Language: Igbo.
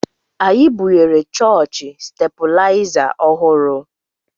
Anyị bunyere chọọchị stebilaịza ọhụrụ